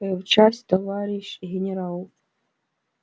в часть товарищ генерал